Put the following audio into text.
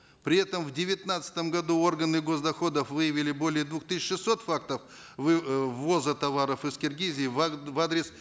при этом в девятнадцатом году органы госдоходов выявили более двух тысяч шестисот фактов э ввоза товаров из киргизии в в адрес